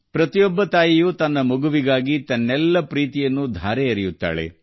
ಪ್ರತಿಯೊಬ್ಬ ತಾಯಿಯೂ ತನ್ನ ಮಗುವಿನ ಮೇಲೆ ಮಿತಿಯಿಲ್ಲದ ಪ್ರೀತಿಯನ್ನು ತೋರಿಸುತ್ತಾಳೆ